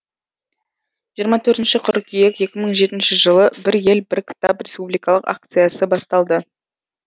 жиырма төртінші қыркүйек екі мың жетінші жылы бір ел бір кітап республикалық акциясы басталды